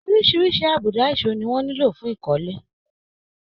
Orísirísi àbùdá ìso ni wọ́n nílò fún ìkọ́lé.